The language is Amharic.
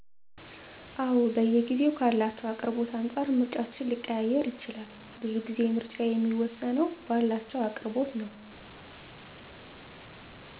አወ በየጊዜዉ ካላቸዉ አቅርቦት አንፃር ምርጫችን ሊቀያየር ይችላል። ቡዙ ጊዜ ምረጫየ የሚወስነዉ ባላቸዉ አቅርቦት ነዉ